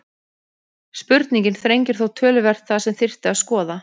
Spurningin þrengir þó töluvert það sem þyrfti að skoða.